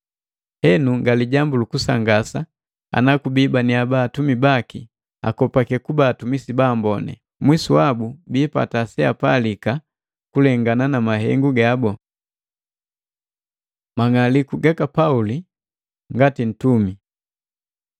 Henu nga lijambu lukusangasa ana kubii haba atumi baki akopake kuba atumisi ba amboni. Mwisu wabu biipata seapalika kulengana na mahengu gabu. Mang'aliku gaka Pauli ngati Ntumi